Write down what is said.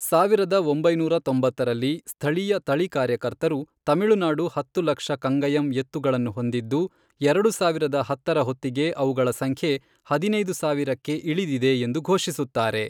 ಸಾವಿರದ ಒಂಬೈನೂರ ತೊಂಬತ್ತರಲ್ಲಿ, ಸ್ಥಳೀಯ ತಳಿ ಕಾರ್ಯಕರ್ತರು, ತಮಿಳುನಾಡು ಹತ್ತು ಲಕ್ಷ ಕಂಗಯಂ ಎತ್ತುಗಳನ್ನು ಹೊಂದಿದ್ದು ಎರಡು ಸಾವಿರದ ಹತ್ತರ ಹೊತ್ತಿಗೆ ಅವುಗಳ ಸಂಖ್ಯೆ ಹದಿನೈದು ಸಾವಿರಕ್ಕ ಇಳಿದಿದೆ ಎಂದು ಘೋಷಿಸುತ್ತಾರೆ.